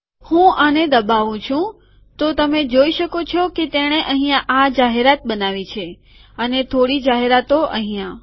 હું આને દબાઉં છું તો તમે જોઈ શકો છો કે તેણે અહીંયા આ જાહેરાત બનાવી છે અને થોડી જાહેરાતો અહીંયા